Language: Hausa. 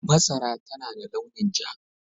Masara tana da launin ja.